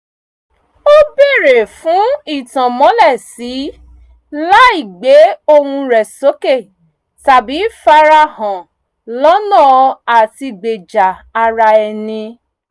ó bèrè fún ìtànmọ́lẹ̀-sí láì gbé ohùn rẹ̀ sókè tàbí farahàn lọ́nà àtigbèja ara ẹni